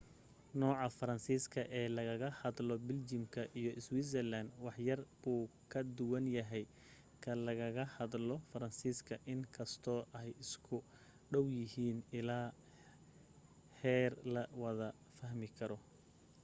nooca faransiiska ee lagaga hadlo biljam iyo switzerland waxyar buu ka duwan yahay ka lagaga hadlo faransiiska in kastoo ay isku dhaw yihiin illaa heer la wada fahmi karo